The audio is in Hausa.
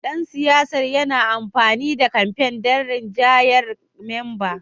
Dan siyasar yana amfani da kamfen don rinjayar memba